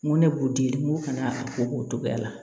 N ko ne b'u di n ko ka na a ko k'o togoya la